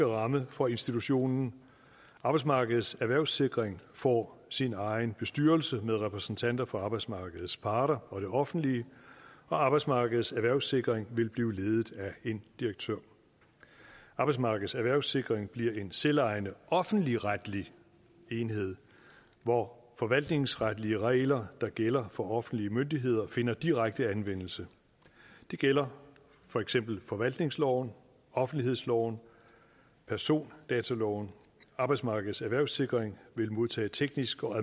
ramme for institutionen arbejdsmarkedets erhvervssikring får sin egen bestyrelse med repræsentanter for arbejdsmarkedets parter og det offentlige og arbejdsmarkedets erhvervssikring vil blive ledet af en direktør arbejdsmarkedets erhvervssikring bliver en selvejende offentligretlig enhed hvor forvaltningsretlige regler der gælder for offentlige myndigheder finder direkte anvendelse det gælder for eksempel forvaltningsloven offentlighedsloven persondataloven arbejdsmarkedets erhvervssikring vil modtage teknisk og